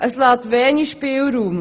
Diese lassen wenig Spielraum.